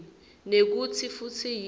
nekutsi futsi yini